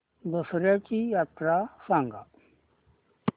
दसर्याची यात्रा सांगा